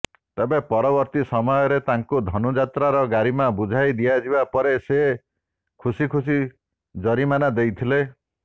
ତେବେ ପରବର୍ତ୍ତୀ ସମୟରେ ତାଙ୍କୁ ଧନୁଯାତ୍ରାର ଗାରିମା ବୁଝାଇ ଦିଆଯିବା ପରେ ସେ ଖୁସି ଖୁସି ଜରିମାନା ଦେଇଥିଲେ